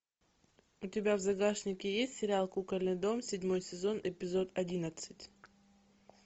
у тебя в загашнике есть сериал кукольный дом седьмой сезон эпизод одиннадцать